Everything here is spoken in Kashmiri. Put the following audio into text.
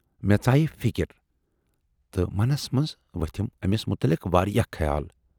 مےٚ ژایہِ فِکر ہِش تہٕ منَس منز ؤتھِم ٲمِس مُتلق واراہ خیال۔